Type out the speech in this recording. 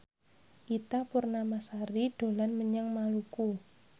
Ita Purnamasari dolan menyang Maluku